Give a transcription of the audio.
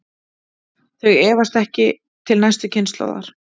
Þau erfast ekki til næstu kynslóðar.